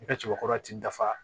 I ka cɛbakɔrɔ ti dafa